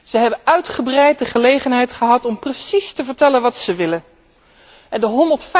Zij hebben uitgebreid de gelegenheid gehad om precies te vertellen wat zij willen en de